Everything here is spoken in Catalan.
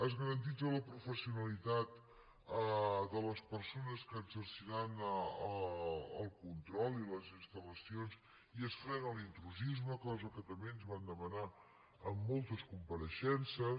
es garanteix la professionalitat de les persones que exerciran el control i les instal·l’intrusisme cosa que també ens van demanar en moltes compareixences